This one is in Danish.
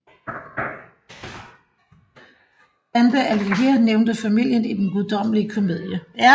Dante Alighieri nævnte familien i Den Guddommelige Komedie